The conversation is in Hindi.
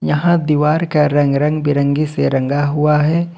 यहां दीवार का रंग रंग बिरंगी से रंगा हुआ है।